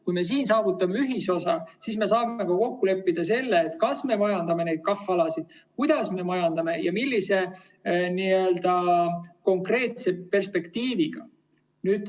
Kui me siin saavutame ühisosa, siis me saame ka kokku leppida selle, kas me neid KAH‑alasid majandame, kuidas me majandame ja millise konkreetse perspektiiviga.